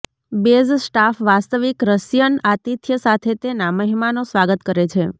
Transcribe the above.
base staff વાસ્તવિક Russian આતિથ્ય સાથે તેના મહેમાનો સ્વાગત કરે છે